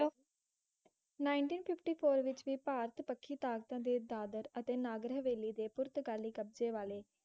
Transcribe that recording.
Nineteen fifty four ਵਿੱਚ ਵੀ ਭਾਰਤ ਪਕੀ ਤਾਕਤਾਂ ਦੇ ਦਾਦਰ ਅਤੇ ਨਗਰ ਹਵੇਲੀ ਦੇ ਪੁਰਤ ਕਾਲੀ ਕਬਜੇ ਵਾਲੇ